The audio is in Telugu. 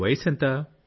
మీ వయస్సు ఎంత